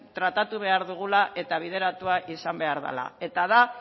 tratatu behar dugula eta bideratua izan behar dela eta da